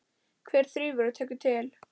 Hver þrífur og tekur til?